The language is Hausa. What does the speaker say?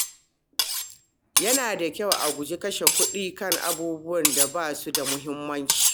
Yana da kyau a guji kashe kuɗi kan abubuwan da ba su da muhimmanci.